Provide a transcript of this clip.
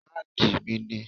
Báàgí mí ni.